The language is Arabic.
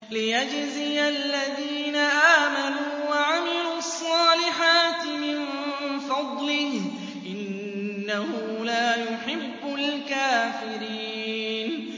لِيَجْزِيَ الَّذِينَ آمَنُوا وَعَمِلُوا الصَّالِحَاتِ مِن فَضْلِهِ ۚ إِنَّهُ لَا يُحِبُّ الْكَافِرِينَ